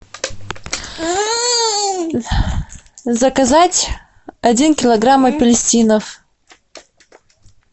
заказать один килограмм апельсинов